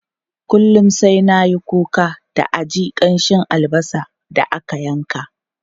Kullum sai na yi kuka da a ji kamshin albasa da aka yanka.